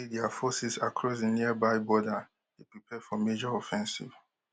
be dia forces across di nearby border dey prepare for major offensive